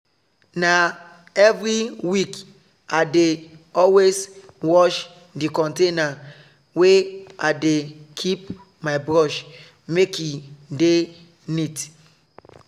na every week i dey always wash the container wey i dey keep my brush make e dey neat.